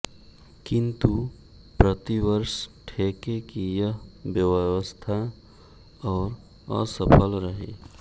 किंतु प्रति वर्ष ठेके की यह व्यवस्था और असफल रही